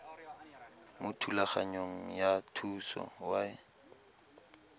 mo thulaganyong ya thuso y